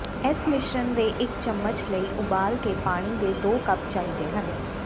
ਇਸ ਮਿਸ਼ਰਣ ਦੇ ਇੱਕ ਚਮਚ ਲਈ ਉਬਾਲ ਕੇ ਪਾਣੀ ਦੇ ਦੋ ਕਪ ਚਾਹੀਦੇ ਹਨ